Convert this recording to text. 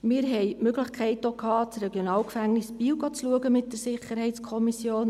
Wir hatten mit der SiK auch die Möglichkeit, das RG Biel zu besichtigen.